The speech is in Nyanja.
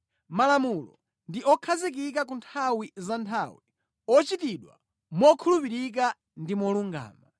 Malamulo ndi okhazikika ku nthawi za nthawi, ochitidwa mokhulupirika ndi molungama.